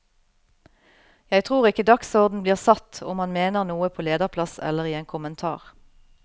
Jeg tror ikke dagsorden blir satt om man mener noe på lederplass eller i en kommentar.